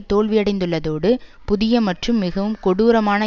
தோல்வியடைந்துள்ளதோடு புதிய மற்றும் மிகவும் கொடூரமான